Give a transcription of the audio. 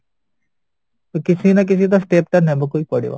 କିଛିନା କିଛିତ step ତ ନବାକୁ ହିଁ ପଡିବ